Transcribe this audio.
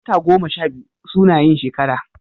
Wata goma sha biyu suna yin shekara